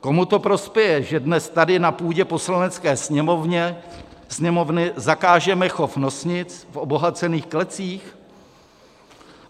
komu to prospěje, že dnes tady na půdě Poslanecké sněmovny zakážeme chov nosnic v obohacených klecích.